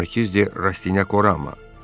Markiz de Rastinyak orama.